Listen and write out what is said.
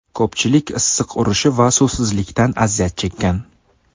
Ko‘pchilik issiq urishi va suvsizlikdan aziyat chekkan.